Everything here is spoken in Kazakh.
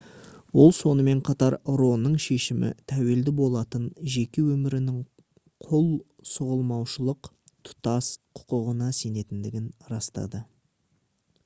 ол сонымен қатар ро-ның шешімі тәуелді болатын жеке өмірінің құл сұғылмаушылық тұтас құқығына сенетіндігін растады